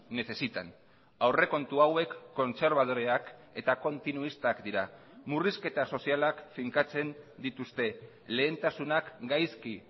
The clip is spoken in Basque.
necesitan aurrekontu hauek kontserbadoreak eta kontinuistak dira murrizketa sozialak finkatzen dituzte lehentasunak gaizki